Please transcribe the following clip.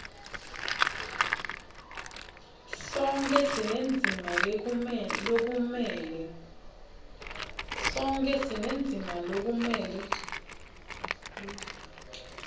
sonkhe sinendzima lokumele